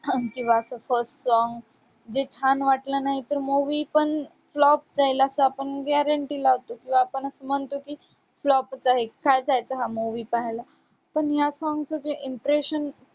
किंवा असं first song जे छान वाटलं नाही तर movie पण flop जाईल असं आपण guarantee लावतो किंवा आपण असं म्हणतो की flop च आहे, काय जायचं हा movie पाहायला. पण या song चं जे impression